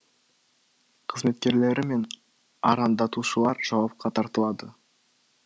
қызметкерлері мен арандатушылар жауапқа тартылады